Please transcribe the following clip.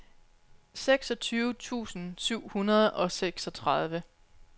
seksogtyve tusind syv hundrede og seksogtredive